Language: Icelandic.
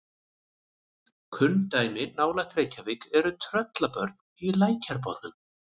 kunn dæmi nálægt reykjavík eru tröllabörn í lækjarbotnum